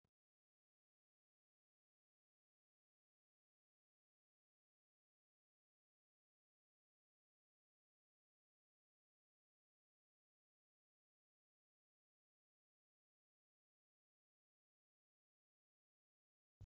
Asxaan dhaabbata qorannoo qonnaa Oromiyaatu suura irra jira. Mallattoo odaa fi gabaajeen maqaa dhaabbatichaa akka asxaatti isa tajaajilu. Karaa gubbaa fi jalaan gurraachq dukkanatu argama . Dhaabbatichi qorannoowwan adda addaa qonna irratt geggeessuun beekama.